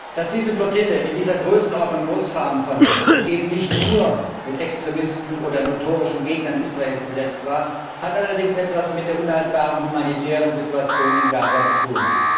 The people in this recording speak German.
Dass diese Flottille in dieser Größenordnung losfahren konnte und eben nicht nur mit Extremisten oder notorischen Gegnern Israels besetzt war, hat allerdings etwas mit der unhaltbaren humanitären Situation in Gaza zu tun.